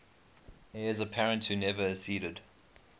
heirs apparent who never acceded